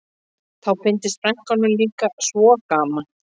Þá fyndist frænkunum líka svo gaman